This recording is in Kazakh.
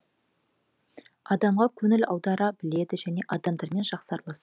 адамға көңіл аудара біледі және адамдармен жақсы аралас